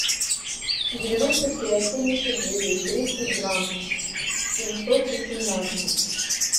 девяносто пять семьдесят девять тридцать два семьсот восемнадцать